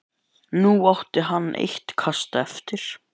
Nú átti hann eitt kast eftir.